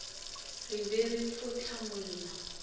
re be re fo hlamola